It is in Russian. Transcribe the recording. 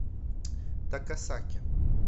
такасаки